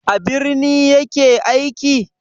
A birni ya ke aiki?